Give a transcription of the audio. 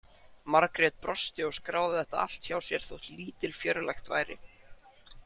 Margrét brosti og skráði þetta allt hjá sér þótt lítilfjörlegt væri.